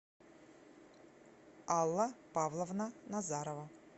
алла павловна назарова